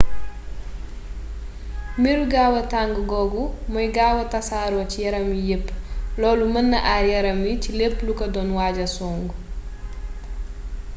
meru gaawa tàng googu mooy gaawa tasaaroo ci yaram wi yépp loolu mën na aar yaram wi ci lépp lu ko doon waaja song